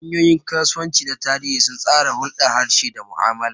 Hanyoyin kasuwanci na tarihi sun tsara hulɗar harshe da mu'amala.